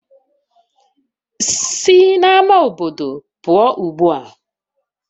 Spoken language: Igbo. Sina ama obodo pụọ ugbua!